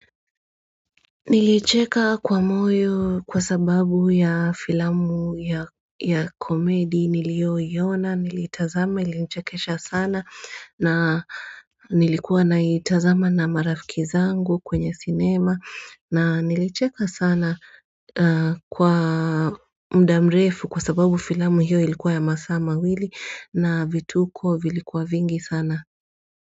Nilicheka kwa moyo kwa sababu ya filamu ya komedi niliyoiona, niliitazama, ilinichekesha sana na nilikuwa na itazama na marafiki zangu kwenye sinema na nilicheka sana kwa mda mrefu kwa sababu filamu hiyo ilikuwa ya masaa mawili na vituko vilikuwa vingi sana.